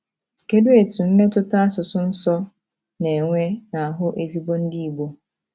Kedu etu mmetụta asusụ nsọ na - enwe n’ahụ́ ezigbo Ndị Igbo?